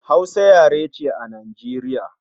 Hausa yare ce a Najeriya